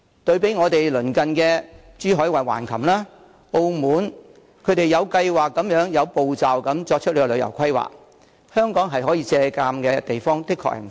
對比之下，鄰近的珠海橫琴和澳門均有計劃、有步驟地作出旅遊規劃，香港可以借鑒的地方確實不少。